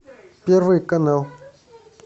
первый канал